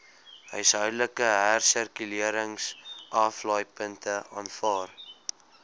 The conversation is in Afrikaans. huishoudelike hersirkuleringsaflaaipunte aanvaar